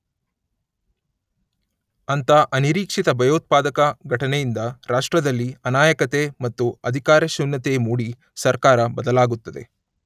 ಅಂಥ ಅನಿರೀಕ್ಷಿತ ಭಯೋತ್ಪಾದಕ ಘಟನೆಯಿಂದ ರಾಷ್ಟ್ರದಲ್ಲಿ ಅನಾಯಕತೆ ಮತ್ತು ಅಧಿಕಾರಶೂನ್ಯತೆ ಮೂಡಿ ಸರ್ಕಾರ ಬದಲಾಗುತ್ತದೆ.